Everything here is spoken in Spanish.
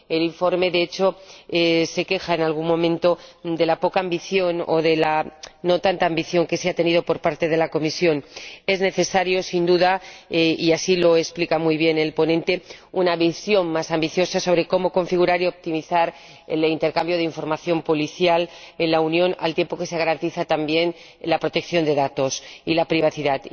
El informe, de hecho, se queja en algún momento de la poca ambición o de la falta de ambición que se ha tenido por parte de la Comisión. Sin duda es necesaria —y así lo explica muy bien el ponente— una visión más ambiciosa sobre cómo configurar y optimizar el intercambio de información policial en la Unión, al tiempo que se garantiza también la protección de datos y la privacidad.